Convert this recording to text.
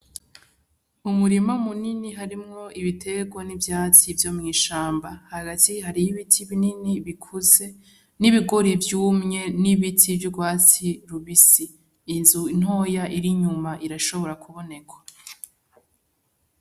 Umurima mu nini harimwo ibiterwa n'ivyatsi vyo mw'ishamba hagati hariyo ibiti binini bikuze n'ibigori vyumye n'ibiti vy'urwatsi rubisi, Inzu ntoya iri inyuma irashobora ku boneka.